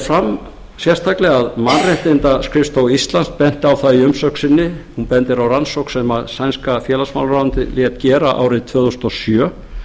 fram sérstaklega að mannréttindaskrifstofa íslands benti á í umsögn sinni rannsókn sem sænska félagsmálaráðuneytið lét gera árið tvö þúsund og sjö